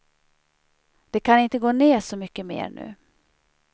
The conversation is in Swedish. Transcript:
Det kan inte gå ned så mycket mer nu.